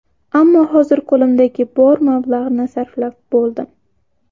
Ammo hozir qo‘limdagi bor mablag‘ni sarflab bo‘ldim.